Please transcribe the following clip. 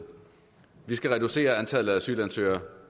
vi skal reducere antallet af asylansøgere